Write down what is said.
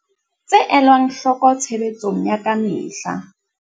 Tse elwang hloko tshebetsong ya ka mehla.